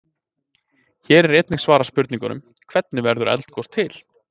Hér er einnig svarað spurningunum: Hvernig verður eldgos til?